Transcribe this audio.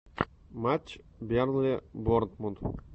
матч бернли борнмут